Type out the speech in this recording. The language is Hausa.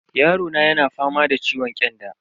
Yarona yana fama da ciwon kyanda.